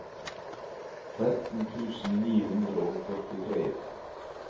tretten tusen ni hundre og førtitre